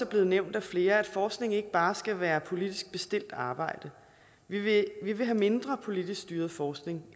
blevet nævnt af flere at forskning ikke bare skal være politisk bestilt arbejde vi vil have mindre politisk styret forskning